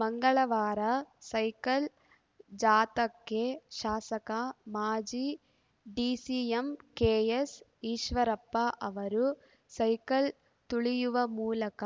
ಮಂಗಳವಾರ ಸೈಕಲ್‌ ಜಾಥಾಕ್ಕೆ ಶಾಸಕ ಮಾಜಿ ಡಿಸಿಎಂ ಕೆಎಸ್‌ಈಶ್ವರಪ್ಪ ಅವರು ಸೈಕಲ್‌ ತುಳಿಯುವ ಮೂಲಕ